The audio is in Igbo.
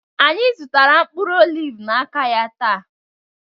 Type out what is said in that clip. Anyị zụtara mkpụrụ oliv n'aka ya taa